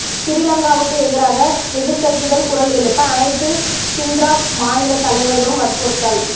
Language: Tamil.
சிறீலங்காவுக்கு எதிராக எதிர்கட்சிகள் குரல் எழுப்ப அனைத்து ஹிண்ட்ராப் மாநிலத் தலைவர்களும் வற்புறுத்தல்